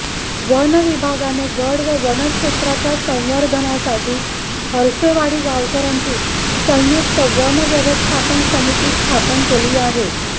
वनविभागाने गड व वनक्षेत्राच्या संवर्धनासाठी हर्षेवाडी गावकऱ्यांची संयुक्त वनव्यवस्थापन समिती स्थापन केली आहे